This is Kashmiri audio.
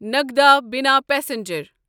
نگدا بِنا پسنجر